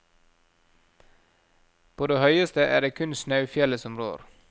På det høyeste er det kun snaufjellet som rår.